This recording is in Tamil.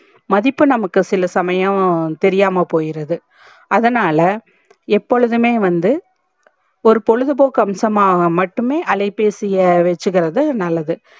மதிப்பு நமக்கு சில சமயம் தெரியாம போயிருது அதனால எப்போதுமே வந்து ஒரு பொழுது போக்கு அம்சமாக மட்டுமே அலைபேசிய வச்சிகிறது நல்லது